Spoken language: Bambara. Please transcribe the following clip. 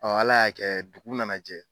ALA y'a kɛ dugu nana jɛ.